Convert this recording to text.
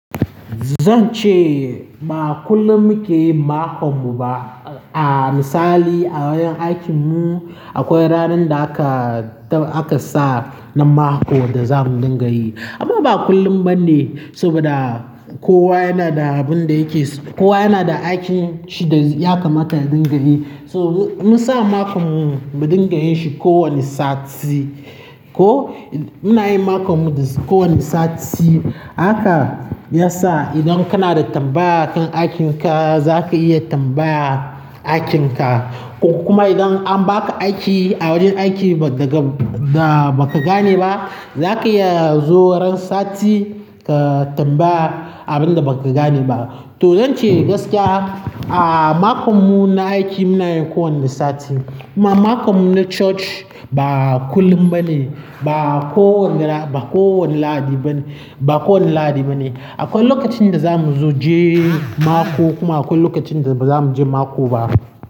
Zan ce ba kullum muke yin makon mu ba a. A misali a wajen aikin mu akwai ranan da aka tan aka sa na mako da za mu dinga yi. Amma ba kullum ba ne saboda kowa yana da abin da yake, kowa yana da aikin shi da ya kamata ya dinga yi. So mu mun sa makon mu mu dinga yin shi ko wane sati ko ina yin makon mu da ko wane sati. Haka ya sa idan kana da tambaya kan aikinka za ka iya tambaya aikinka ko kuma idan an ba ka aiki a wajen aiki ba daga da ba ka gane ba, za ka iya zo ran sati ka tambaya abin da ba ka gane ba. To zan ce gaskiya a makon mu na aiki muna yin ko wane sati, kuma makon mu na church ba kullum ba ne, ba kowanga la--, ba kowanne lahadi ba ne, ba kowanne lahadi ba ne. Akwai lokacin da za mu zo je mako kuma akwai lokacin da ba za mu je mako ba.